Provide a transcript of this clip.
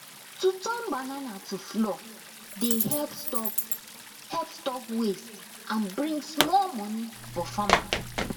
to turn banana to flour dey help stop help stop waste and bring small money for farmer